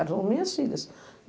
Eram minhas filhas.